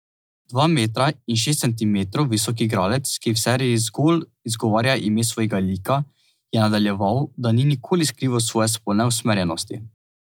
Dva metra in šest centimetrov visok igralec, ki v seriji zgolj izgovarja ime svojega lika, je nadaljeval, da ni nikoli skrival svoje spolne usmerjenosti.